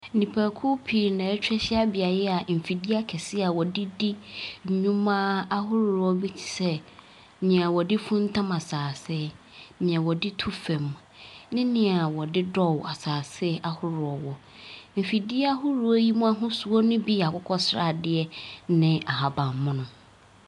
Nnipakuo pii na wɔatwa ahyia beaeɛ a mfidie akɛseɛ a wɔde di nneɛma ahodoɔ bi te sɛ, nea wɔde funtam asase, nea wɔde tu fam, ne nea a wɔde dɔw asase ahoroɔ wɔ. Efidie ahoroɔ yi mu ahosuo no bi yɛ akokɔ sradeɛ ne ahaban mono.